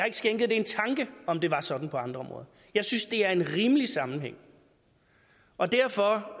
ikke skænket en tanke om det var sådan på andre områder jeg synes det er en rimelig sammenhæng og derfor